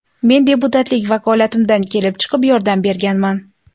Men deputatlik vakolatimdan kelib chiqib yordam berganman.